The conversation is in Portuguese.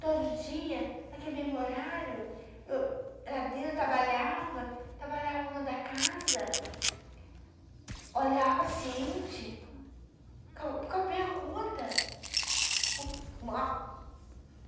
Todo dia, naquele mesmo horário, eu ia lá dentro, trabalhava, trabalhava no lado da casa, olhava o paciente, a conta